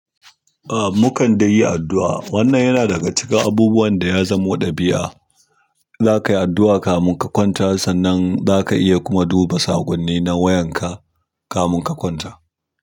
A, mu kan dai yi addu'a. Wannan yana daga cikin abubuwan da ya zamo ɗabi'a. In zakayi addu'a kamin ka kwanta, sannan zaka iya kuma duba saƙoni na wayar ka kamin ka kwanta.